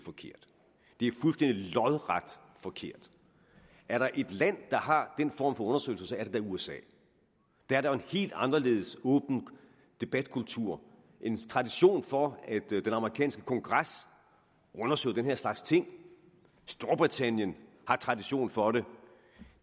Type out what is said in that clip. lodret forkert er der et land der har den form for undersøgelser er det da usa der er en helt anderledes åben debatkultur en tradition for at den amerikanske kongres undersøger den her slags ting storbritannien har tradition for det